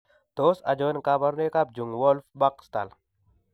Tos achon kabarunaik ab Jung Wolff Back Stahl?